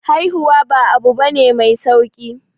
Haihuwa ba abu bane mai sauki